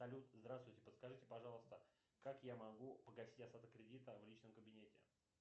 салют здравствуйте подскажите пожалуйста как я могу погасить остаток кредита в личном кабинете